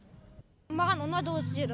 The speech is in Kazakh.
маған ұнады осы жер